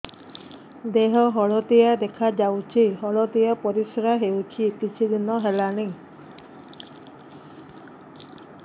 ଦେହ ହଳଦିଆ ଦେଖାଯାଉଛି ହଳଦିଆ ପରିଶ୍ରା ହେଉଛି କିଛିଦିନ ହେଲାଣି